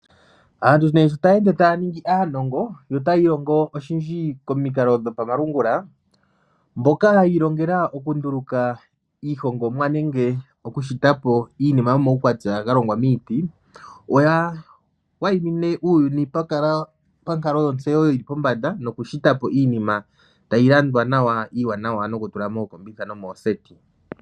Aantu nee sho taya ende taya ningi aanongo notaya ilongo oshindji komikalo dhopamalungula. Mboka yi ilongela okunduluka iihongomwa nenge okushita po iinima yomaukwatya ga longwa miiti, oya waimine uuyuni pankalo yontseyo yili pombanda nokushita po iinima tayi landwa nawa iiwanawa nokutula mookombitha nomooseti.